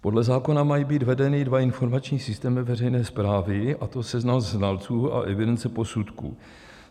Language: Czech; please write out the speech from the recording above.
Podle zákona mají být vedeny dva informační systémy veřejné správy, a to seznam znalců a evidence posudků.